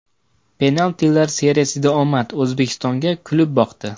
Penaltilar seriyasida omad O‘zbekistonga kulib boqdi.